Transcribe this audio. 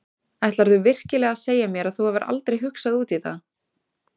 Ætlarðu virkilega að segja mér að þú hafir aldrei hugsað út í það?